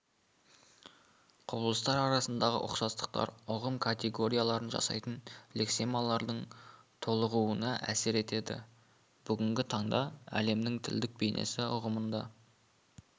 құбылыстар арасындағы ұқсастықтар ұғым категорияларын жасайтын лексемалардың толығуына әсер етеді бүгінгі таңда әлемнің тілдік бейнесі ұғымында